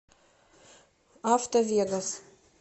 автовегас